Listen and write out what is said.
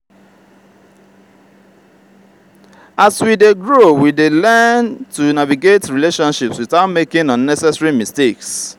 as we dey grow we learn to navigate relationships without making unnecessary mistakes.